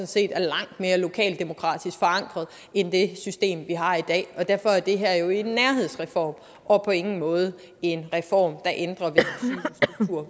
set er langt mere lokalt demokratisk forankret end det system vi har i dag og derfor er det her jo en nærheds reform og på ingen måde en reform der ændrer det